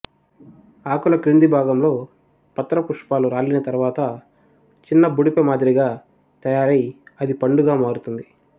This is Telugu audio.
ఆకుల క్రింది భాగంలో పత్రపుష్పాలు రాలిన తర్వాత చిన్న బుడిపె మాదిరిగా తయారై అది పండుగా మారుతుంది